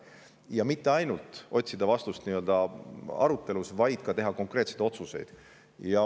Ja me ei taha mitte ainult otsida vastuseid arutelus, vaid tahame teha ka konkreetseid otsuseid.